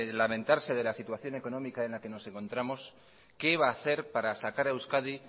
lamentarse de la situación económica en la que nos encontramos qué va a hacer para sacar a euskadi